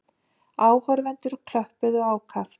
Áhorfendur klöppuðu ákaft.